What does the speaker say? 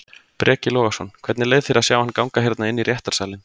Breki Logason: Hvernig leið þér að sjá hann ganga hérna inn í réttarsalinn?